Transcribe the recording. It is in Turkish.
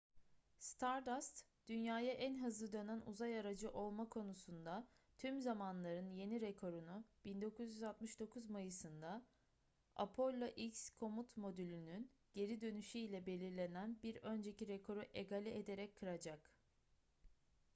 stardust dünya'ya en hızlı dönen uzay aracı olma konusunda tüm zamanların yeni rekorunu 1969 mayıs'ında apollo x komut modülünün geri dönüşü ile belirlenen bir önceki rekoru egale ederek kıracak